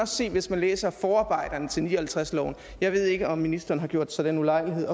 se hvis man læser forarbejderne til nitten ni og halvtreds loven jeg ved ikke om ministeren har gjort sig den ulejlighed at